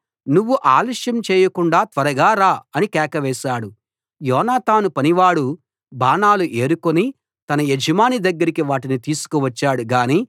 నువ్వు ఆలస్యం చేయకుండా త్వరగా రా అని కేక వేశాడు యోనాతాను పనివాడు బాణాలు ఏరుకుని తన యజమాని దగ్గరికి వాటిని తీసుకువచ్చాడు గాని